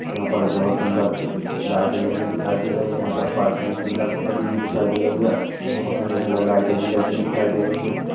यहाँ पर बहोत सुंदर दि लाइटें लगी हुई दिखाई दे रही है यहाँ पर पास में सुंदर गली भी दिखाई दे रही है यहाँ पर सुंदर-सुंदर लाइटें भी लगी हुई दिखाई दे रही है।